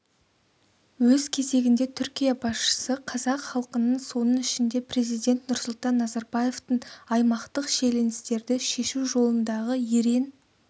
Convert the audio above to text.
өз кезегінде түркия басшысы қазақ іалқының соның ішінде президент нұрсұлтан назарбаевтың аймақтық шиеленістерді шешу жолындағы ерен